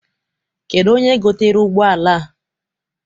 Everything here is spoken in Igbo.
Kedụ onye gotere ụgbọala a?